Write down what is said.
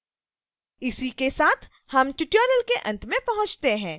इसी के साथ हम tutorial के अंत में पहुँचते हैं